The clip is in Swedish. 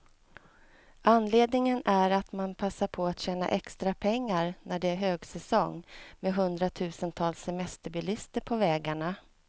Anledningen är att man passar på att tjäna extra pengar, när det är högsäsong med hundratusentals semesterbilister på vägarna.